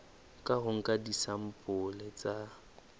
ka ho nka disampole tsa